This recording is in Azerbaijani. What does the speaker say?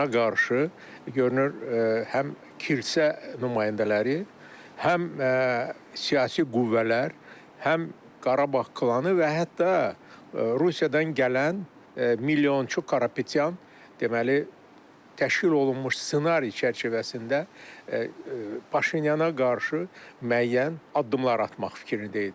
Ona qarşı görünür həm kilsə nümayəndələri, həm siyasi qüvvələr, həm Qarabağ klanı və hətta Rusiyadan gələn milyonçu Karapetyan, deməli, təşkil olunmuş ssenari çərçivəsində Paşinyana qarşı müəyyən addımlar atmaq fikrində idilər.